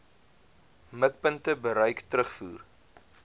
mikpunte bereik terugvoer